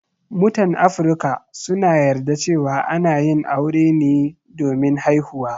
Mutan Afrika suna yarda cewa ana yin aure ne domin haihuwa.